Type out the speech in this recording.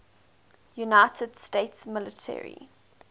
united states military